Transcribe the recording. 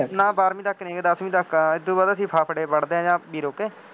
ਨਾ ਬਾਰਵੀਂ ਤੱਕ ਨਹੀਂ ਹੈਗਾ, ਦੱਸਵੀਂ ਤੱਕ ਆ, ਇੱਦੋਂ ਬਾਅਦ ਅਸੀਂ ਫਫੜੇ ਪੜ੍ਹਦੇ ਹਾਂ ਬੀਰੋ ਕੇ